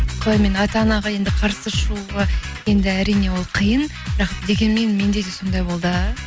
қалай мен ата анаға енді қарсы шығуға енді әрине ол қиын бірақ дегенмен менде де сондай болды